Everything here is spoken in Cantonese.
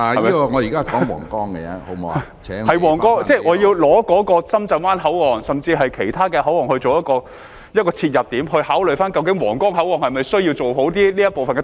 議案是關乎皇崗口岸，但我要以深圳灣口岸甚至其他口岸作切入點，考慮究竟皇崗口岸是否需要做好通車這部分。